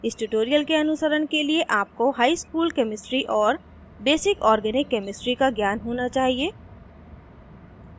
इस ट्यूटोरियल के अनुसरण के लिए आपको हाई स्कूल केमिस्ट्री और बेसिक ऑर्गैनिक केमिस्ट्री का ज्ञान होना चाहिए